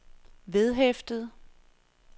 vedhæftet